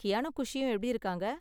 கியானும் குஷியும் எப்படி இருக்காங்க?